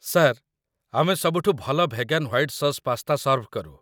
Sir, ଆମେ ସବୁଠୁ ଭଲ vegan white sauce pasta serve କରୁ।